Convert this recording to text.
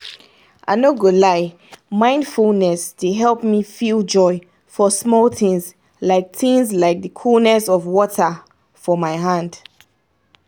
i no go lie mindfulness dey help me feel joy for small things like things like the coolness of water for my hand